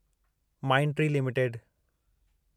Mindtree limited